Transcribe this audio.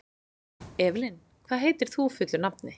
Evelyn, hvað heitir þú fullu nafni?